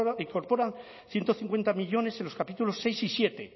incorporan ciento cincuenta millónes en los capítulos seis y siete